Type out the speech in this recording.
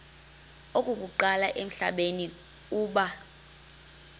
okokuqala emhlabeni uba